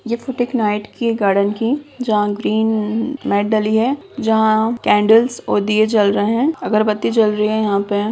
ये फ़ोटो एक नाइट की है गार्डन की जहां ग्रीन अ मेट डली है जहां केंडल्स और दिए जल रहे है अगरबत्ती जल रही है यहाँ पे।